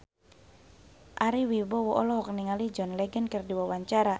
Ari Wibowo olohok ningali John Legend keur diwawancara